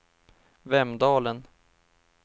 Vemdalen